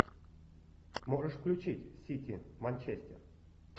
можешь включить сити манчестер